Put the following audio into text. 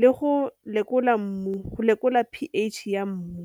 le go lekola mmu, go lekola p_H ya mmu.